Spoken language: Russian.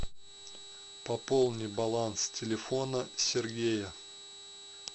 пополни баланс телефона сергея